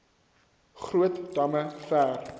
groot damme ver